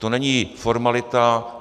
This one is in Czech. To není formalita.